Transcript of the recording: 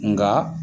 Nka